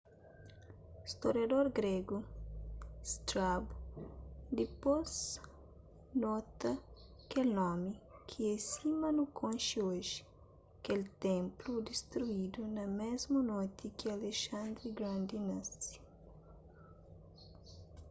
storiador gregu strabo dipôs nota kel nomi ki é sima nu konxe oji kel ténplu distruidu na mésmu noti ki alexandri grandi nasi